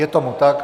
Je tomu tak.